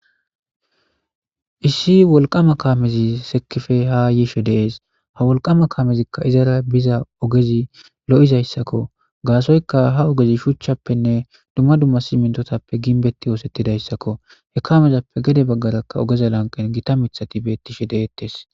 Issi wolqama kamezi sekira ha ydi des. Ha kamey kehi lo'izayssa. Ha ogez shuchappenne dumma dumma siminttoppe gimbbeti ossetidayssakko. He kamezappe gedde bagara gotta miththati bettetes.